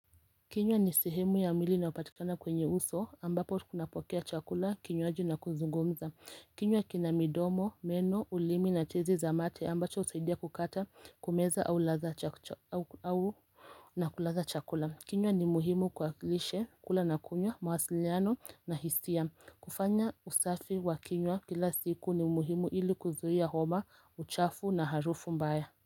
Kinywa ni sehemu ya mwili inayo patikana kwenye uso ambapo kuna pokea chakula kinywaji na kuzungumza kinywa kina midomo, meno, ulimi na tezi za mate ambacho husaidia kukata kumeza na kulaza chakula kinywa ni muhimu kwa lishe kula na kunywa, mwasiliano na hisia kufanya usafi wa kinywa kila siku ni muhimu ili kuzuia homa, uchafu na harufu mbaya.